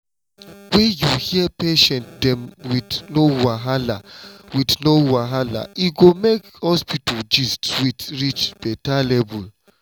when you hear patient dem wit no wahala wit no wahala e go make hospital gist sweet reach better level.